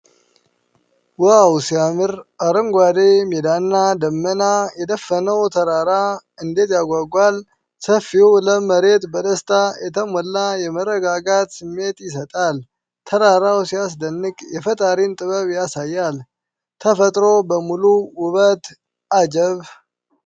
ዋው ሲያምር! አረንጓዴ ሜዳና ደመና የደፈነው ተራራ እንዴት ያጓጓል! ሰፊው ለም መሬት በደስታ የተሞላ የመረጋጋት ስሜት ይሰጣል። ተራራው ሲያስደንቅ የፈጣሪን ጥበብ ያሳያል። ተፈጥሮ በሙሉ ውበቷ አጀብ!